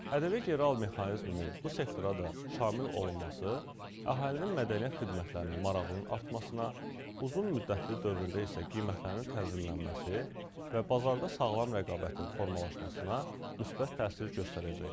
ƏDV geri al mexanizminin bu sektora da şamil olunması əhalinin mədəniyyət xidmətlərinə marağının artmasına, uzunmüddətli dövrdə isə qiymətlərin tənzimlənməsi və bazarda sağlam rəqabətin formalaşmasına müsbət təsir göstərəcək.